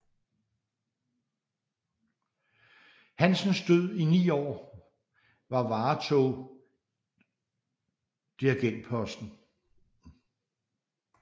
Hansens Død i 9 år var varetog dirigentposten